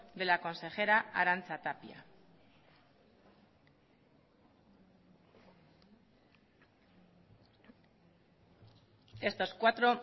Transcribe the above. de la consejera arantza tapia estos cuatro